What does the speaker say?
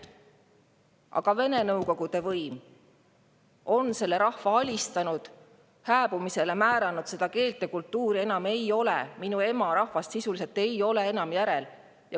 Aga Vene Nõukogude võim on selle rahva alistanud, hääbumisele määranud, seda keelt ja kultuuri enam ei ole, minu ema rahvast sisuliselt ei ole enam järel.